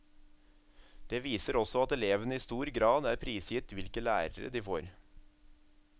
Det viser også at elevene i stor grad er prisgitt hvilke lærere de får.